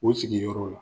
O sigiyɔrɔ la